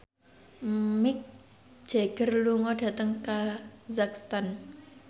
Mick Jagger lunga dhateng kazakhstan